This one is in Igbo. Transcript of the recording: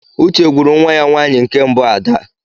Uche gwuru nwa ya nwanyi nke mbu Ada